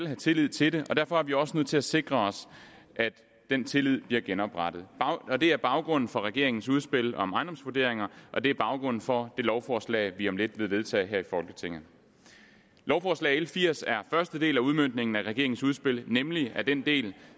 have tillid til dem og derfor er vi også nødt til at sikre os at den tillid bliver genoprettet det er baggrunden for regeringens udspil om ejendomsvurderinger og det er baggrunden for det lovforslag vi om lidt vil vedtage her i folketinget lovforslag l firs er første del af udmøntningen af regeringens udspil nemlig af den del